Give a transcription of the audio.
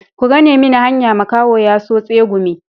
Ku gane mini hanya makaho ya so tsegumi.